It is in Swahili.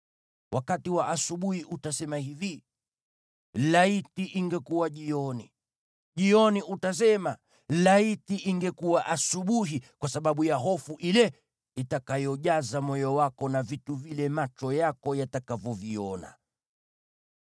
Wakati wa asubuhi utasema hivi, “Laiti ingekuwa jioni!” Jioni utasema, “Laiti ingekuwa asubuhi,” kwa sababu ya hofu ile itakayojaza moyo wako na vitu vile macho yako yatakavyoviona.